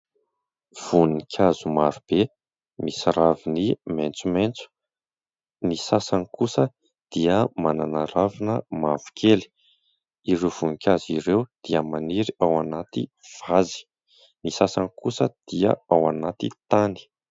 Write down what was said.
Voninkazo marobe misy raviny maintsomaintso. Ny sasany kosa dia manana ravina mavo kely. Ireo voninkazo ireo dia maniry ao anaty vazy ; ny sasany kosa dia ao anaty tany.